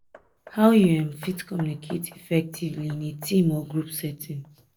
how you um fit communicate effectively in a team or group setting?